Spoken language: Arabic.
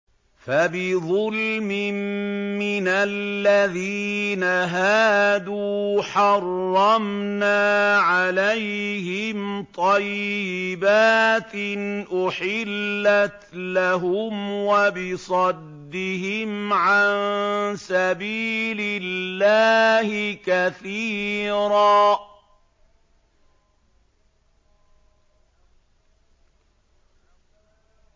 فَبِظُلْمٍ مِّنَ الَّذِينَ هَادُوا حَرَّمْنَا عَلَيْهِمْ طَيِّبَاتٍ أُحِلَّتْ لَهُمْ وَبِصَدِّهِمْ عَن سَبِيلِ اللَّهِ كَثِيرًا